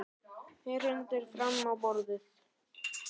Hrindir fram á borðið.